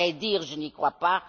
À vrai dire, je n'y crois pas.